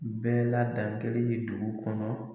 Bɛɛ la dankelen ye dugu kɔnɔ.